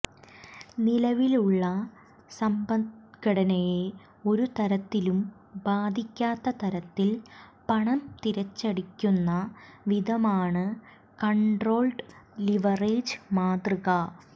നിലവിലുള്ള സമ്പദ്ഘടനയെ ഒരുതരത്തിലും ബാധിക്കാത്ത തരത്തിൽ പണം തിരിച്ചടയ്ക്കുന്ന വിധമാണ് കൺട്രോൾഡ് ലിവറേജ് മാതൃക